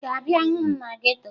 Ị ga-abịa hụ m na geto?